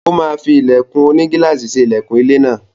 Ó máa fí ilẹ̀kùn onigílàsì ṣe ilẹkùn ilé náà.